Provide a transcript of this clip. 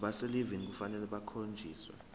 abaselivini kufanele bakhonjiswe